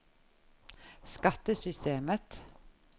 skattesystemet